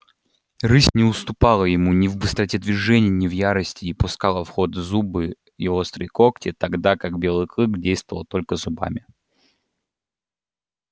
рысь не уступала ему ни в быстроте движений ни в ярости и пускала в ход и зубы и острые когти тогда как белый клык действовал только зубами